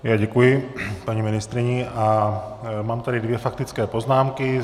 Já děkuji paní ministryni a mám tady dvě faktické poznámky.